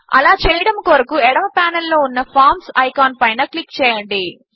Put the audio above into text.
అలా చేయడము కొరకు ఎడమ పానెల్ లో ఉన్న ఫార్మ్స్ ఐకాన్ పైన క్లిక్ చేయండి